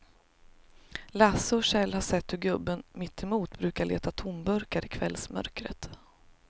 Lasse och Kjell har sett hur gubben mittemot brukar leta tomburkar i kvällsmörkret.